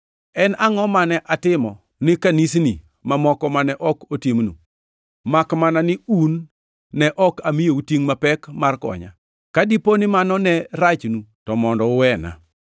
En angʼo mane atimo ni kanisni mamoko mane ok atimonu, makmana ni un ne ok amiyou tingʼ mapek mar konya? Ka dipo ni mano ne rachnu to mondo uwena!